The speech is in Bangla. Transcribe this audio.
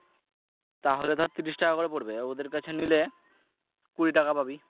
তাহলে ধর ত্রিশ টাকা করে পরবে আর ওদের কাছে নিলে কুড়ি টাকা পাবি।